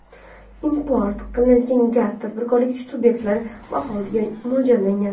import qilinayotgan gaz tadbirkorlik sub’ektlari va aholiga mo‘ljallangan.